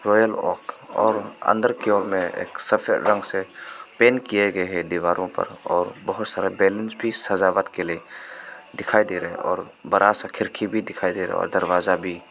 Royal oak और अंदर की ओर में एक सफेद रंग से पेंट किए गए हैं दीवारों पर और बहुत सारे बलूंस भी सजावट के लिए दिखाई दे रहे हैं और बड़ा सा खिड़की भी दिखाई दे रहा है दरवाजा भी।